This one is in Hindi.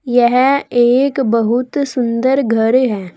यह एक बहुत सुंदर घर है।